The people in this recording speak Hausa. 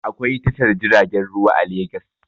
Akwai tashar jiragen ruwa a Legas